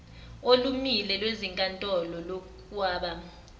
olumile lwezinkantolo lokwaba